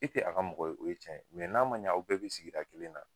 E ti a ka mɔgɔ ye, o ye cɛn ye, n'a ma ɲa a bɛɛ bi sigida kelen na